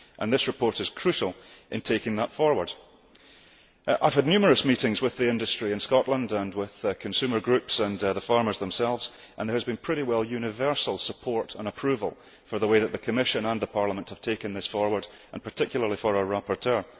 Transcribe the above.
This report is crucial in taking that forward. I have had numerous meetings with the industry in Scotland, and with consumer groups and the farmers themselves, and there has been pretty well universal support and approval for the way that the Commission and Parliament have taken this forward, and particularly for our rapporteur.